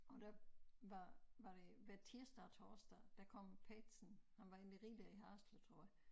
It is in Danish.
Og der var var det hver tirsdag og torsdag der kom Petersen han var en af de rigeste i Haderslev tror jeg